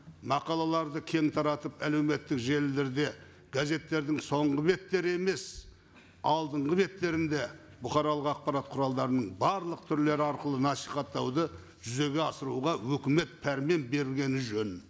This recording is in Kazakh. мақалаларды кең таратып әлеуметтік желілерде газеттердің соңғы беттері емес алдынғы беттерінде бұқаралық ақпарат құралдарының барлық түрлері арқылы насихаттауды жүзеге асыруға өкімет пәрмен бергені жөн